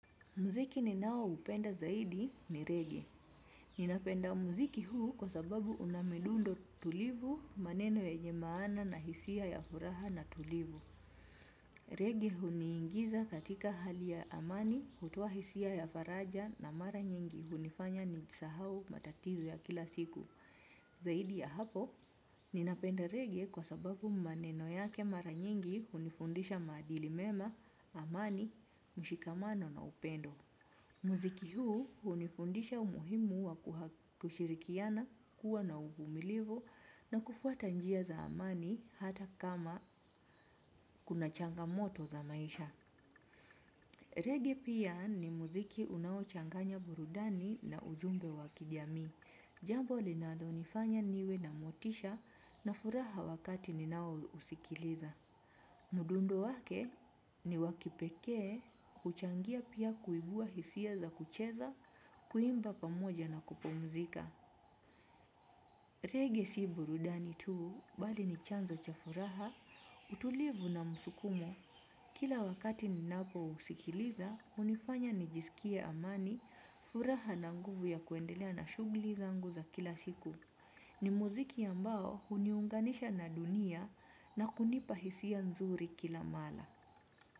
Muziki ninaoupenda zaidi ni reggae. Ninapenda muziki huu kwa sababu unamidundo tulivu maneno yenye maana na hisia ya furaha na tulivu. Reggae huni ingiza katika hali ya amani hutoa hisia ya faraja na mara nyingi hunifanya nisahau matatizo ya kila siku. Zaidi ya hapo, ninapenda reggae kwa sababu maneno yake mara nyingi hunifundisha maadili mema, amani, mshikamano na upendo. Muziki huu unifundisha umuhimu wa kushirikiana kuwa na uvumilivu na kufuata njia za amani hata kama kuna changamoto za maisha. Reggae pia ni muziki unao changanya burudani na ujumbe wa kijamii. Jambo linalo nifanya niwe na motisha na furaha wakati ninao usikiliza. Mudundo wake ni wakipekee, uchangia pia kuibua hisia za kucheza, kuimba pamoja na kupumzika. Reggae si burudani tuu, bali ni chanzo cha furaha, utulivu na msukumo. Kila wakati ninapo usikiliza, unifanya nijisikie amani furaha na nguvu ya kuendelea na shugli zangu za kila siku. Ni muziki ambao uniunganisha na dunia na kunipa hisia nzuri kila mala.